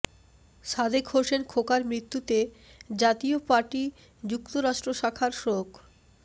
সাদেক হোসেন খোকার মৃত্যুতে জাতীয় পার্টি যুক্তরাষ্ট্র শাখার শোক